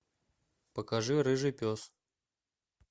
покажи рыжий пес